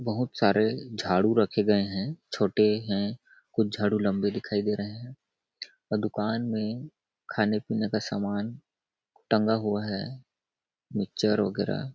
बहुत सारे झाड़ू रखे गए हैं छोटे हैं कुछ झाड़ू लंबे दिखाई दे रहे हैं और दुकान में खाने पीने का सामान टंगा हुआ है मिक्सचर वगैरह --